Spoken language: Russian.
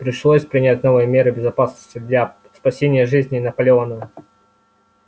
пришлось принять новые меры безопасности для спасения жизни наполеона